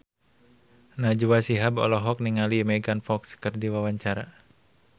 Najwa Shihab olohok ningali Megan Fox keur diwawancara